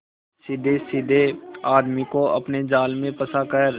सीधेसाधे आदमी को अपने जाल में फंसा कर